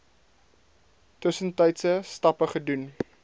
tussentydse stappe gedoen